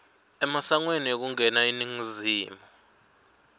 emasangweni ekungena eningizimu